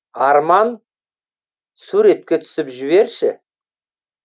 арман суретке түсіп жіберші